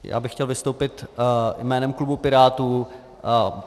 Já bych chtěl vystoupit jménem klubu Pirátů.